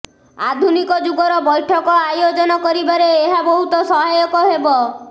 ଆଧୁନିକ ଯୁଗର ବୈଠକ ଆୟୋଜନ କରିବାରେ ଏହା ବହୁତ ସହାୟକ ହେବ